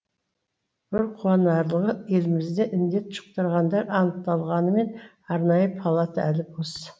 бір қуанарлығы елімізде індет жұқтырғандар анықталғанымен арнайы палата әлі бос